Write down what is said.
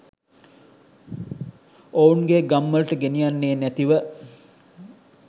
ඔවුන්ගේ ගම්වලට ගෙනියන්නේ නැතිව